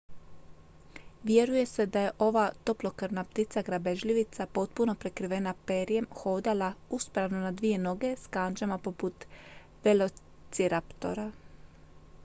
vjeruje se da je ova toplokrvna ptica grabežljivica potpuno prekrivena perjem hodala uspravno na dvije noge s kandžama poput velociraptora